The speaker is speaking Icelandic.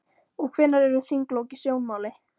Og hvenær eru þinglok í sjónmáli?